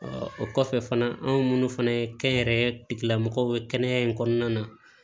o kɔfɛ fana anw fana ye kɛnyɛrɛye tigilamɔgɔw ye kɛnɛya in kɔnɔna na